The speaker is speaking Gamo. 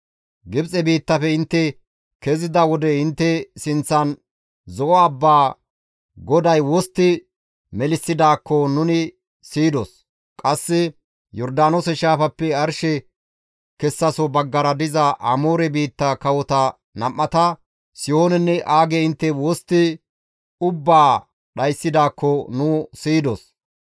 Gibxe biittafe intte kezida wode intte sinththan Zo7o abbaa GODAY wostti melissidaakko nuni siyidos; qasse Yordaanoose shaafappe arshe kessaso baggara diza Amoore biitta kawota nam7ata, Sihoonenne Aage intte wostti ubbaa dhayssidaakko nu siyidos.